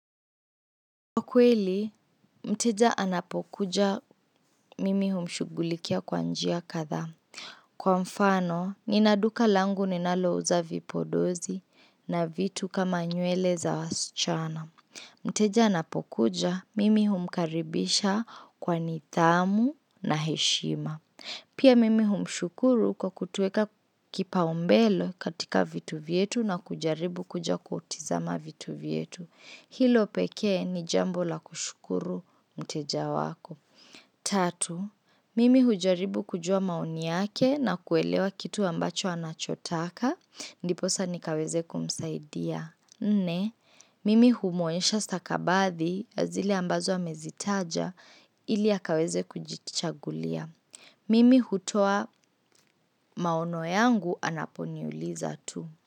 Kwa kweli, mteja anapokuja mimi humshugulikia kwa njia kadha. Kwa mfano, ninaduka langu ninalo uza vipodozi na vitu kama nyuele za wasichana. Mteja anapokuja, mimi humkaribisha kwa nithamu na heshima. Pia mimi humshukuru kwa kutuweka kipaumbele katika vitu vyetu na kujaribu kuja kutizama vitu vyetu. Hilo pekee ni jambo la kushukuru mteja wako. Tatu, mimi hujaribu kujua maoni yake na kuelewa kitu ambacho anachotaka, ndipo sasa ni kaweze kumsaidia. Nne, mimi humuonensha sakabathi, ya zile ambazo amezitaja, ili akaweze kujichagulia. Mimi hutoa maono yangu anaponiuliza tu.